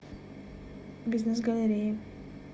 бизнес галереи